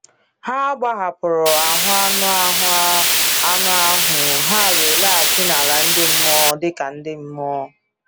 Ha gbahapụrụ ahụ anụ ahụ anụ ahụ ha wee laghachi n’ala ndị mmụọ dịka mmụọ.